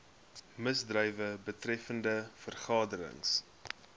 misdrywe betreffende vergaderings